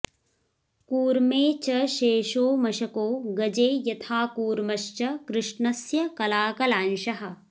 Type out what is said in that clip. कूर्मे च शेषो मश्को गजे यथा कूर्मश्च कृष्णस्य कलाकलांशः